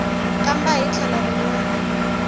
kambe hi tlhelo rin wana